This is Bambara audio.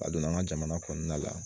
A donna an ka jamana kɔnɔna la